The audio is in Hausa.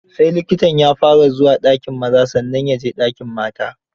Sai likitan ya fara zuwa dakin maza, sannan ya je dakin mata.